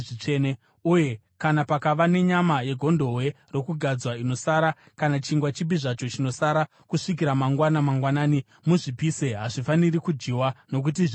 Uye kana pakava nenyama yegondobwe rokugadzwa inosara kana chingwa chipi zvacho chinosara kusvikira mangwana mangwanani, muzvipise. Hazvifaniri kudyiwa, nokuti zvitsvene.